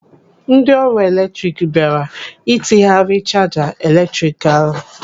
Ndị ọrụ eletrik bịara ịtinyeghari chaja eletrik ahụ.